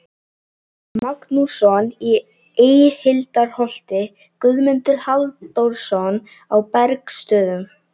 Magnússon í Eyhildarholti, Guðmundur Halldórsson á Bergsstöðum